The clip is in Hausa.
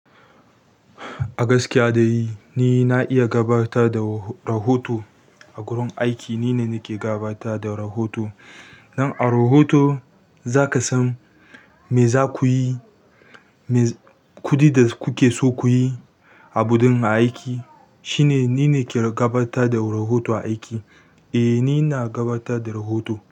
A gaskiya dai ni na iya gabatar da rahoto a gurin aiki. Ni ne nake gabatar da rahoto. Don a rohoto za ka san me za ku yi, me kuɗi da kuke so ku yi a budin aiki. Shi ne ni ne ke gabatar da rohoto a aiki. Eh, ni na gabatar da rohoto.